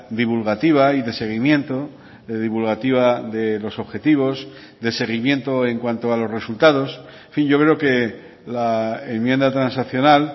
divulgativa y de seguimiento divulgativa de los objetivos de seguimiento en cuanto a los resultados en fin yo creo que la enmienda transaccional